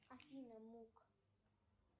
афина мук